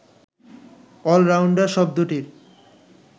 all-rounder শব্দটির